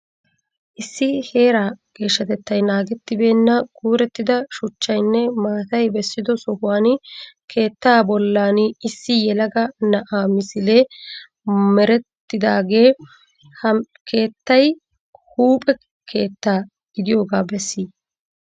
Issi heera geeshshatettay naagettibeena kuurettida shuchchaynne maatay beesiddo sohuwaani keetta bollani issi yelagga na'aa misille merettidagge ha keettay huuphe keetta gidiyooga bessi?